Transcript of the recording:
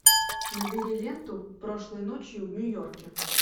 набери ленту прошлой ночью в нью йорке